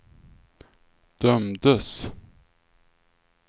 dömdes